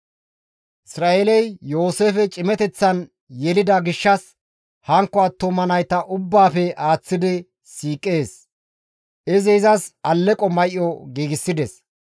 Isra7eeley Yooseefe cimateththan yelida gishshas hankko attuma nayta ubbaafe aaththi siiqees; izi izas alleqo may7o giigsides.